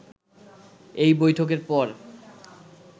এই বৈঠকের পর